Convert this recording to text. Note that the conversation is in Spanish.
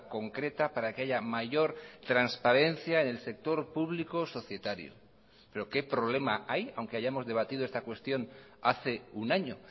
concreta para que haya mayor transparencia en el sector público societario pero qué problema hay aunque hayamos debatido esta cuestión hace un año